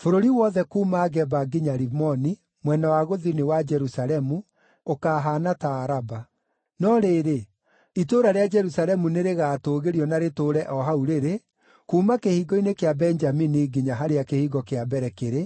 Bũrũri wothe kuuma Geba nginya Rimoni, mwena wa gũthini wa Jerusalemu, ũkaahaana ta Araba. No rĩrĩ, itũũra rĩa Jerusalemu nĩrĩgatũũgĩrio na rĩtũũre o hau rĩrĩ, kuuma Kĩhingo-inĩ kĩa Benjamini nginya harĩa Kĩhingo kĩa Mbere kĩrĩ,